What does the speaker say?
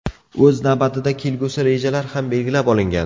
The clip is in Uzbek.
O‘z navbatida kelgusi rejalar ham belgilab olingan.